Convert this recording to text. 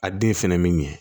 A den fɛnɛ bi ɲɛ